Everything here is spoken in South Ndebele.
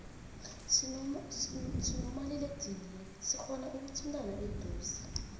sinomaliledinini sikhona ikuthindana eduze